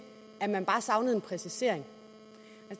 at man bare savnede en præcisering